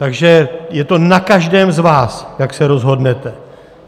Takže je to na každém z vás, jak se rozhodnete.